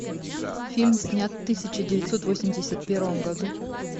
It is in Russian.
фильм снят в тысяча девятьсот восемьдесят первом году